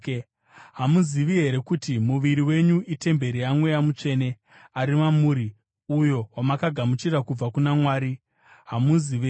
Hamuzivi here kuti muviri wenyu itemberi yaMweya Mutsvene, ari mamuri, uyo wamakagamuchira kubva kuna Mwari? Hamuzi venyu;